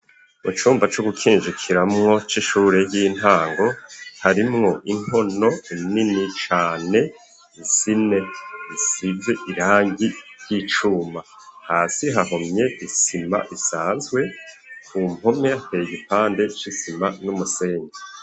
Mu cumba co gukinjikiramwo c'ishure y'intango harimwo inkono nini cane isize irangi ry'icuma hasi hahomye isima isazwe ku mpome hateye igipande c'isima n'umusenyi.